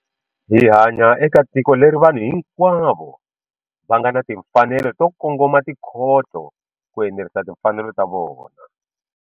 Hi hanya eka tiko leri vanhu hinkwavo va nga ni timfanelo to kongoma tikhoto ku enerisa timfanelo ta vona.